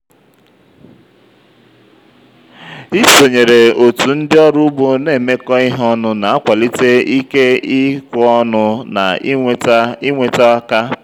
isonyere otu ndị ọrụ ugbo na-emekọ ihe ọnụ na-akwalite ike-ikweọnụ na ịnweta ịnweta aka.